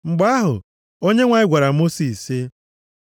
Mgbe ahụ, Onyenwe anyị gwara Mosis sị,